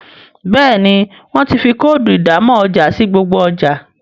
Béèni wón tí fí Kóòdù ìdámọ̀ ọjà sí gbogbo ọjà.